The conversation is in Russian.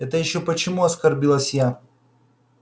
это ещё почему оскорбилась я